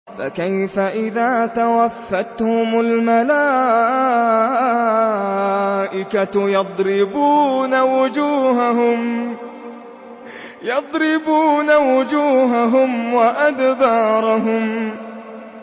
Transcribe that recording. فَكَيْفَ إِذَا تَوَفَّتْهُمُ الْمَلَائِكَةُ يَضْرِبُونَ وُجُوهَهُمْ وَأَدْبَارَهُمْ